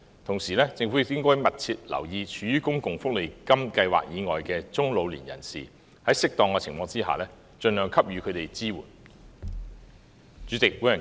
同時，政府亦應該密切留意處於公共福利金計劃以外的中老年人士，在適當的情況下，盡量給予他們支援。